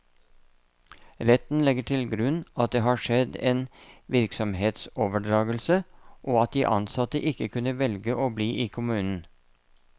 Retten legger til grunn at det har skjedd en virksomhetsoverdragelse, og at de ansatte ikke kunne velge å bli i kommunen.